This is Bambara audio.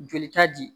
Joli ta di